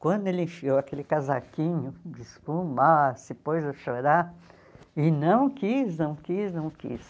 Quando ele enfiou aquele casaquinho de espuma, ah se pôs a chorar, e não quis, não quis, não quis.